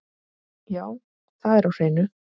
Já, það er á hreinu.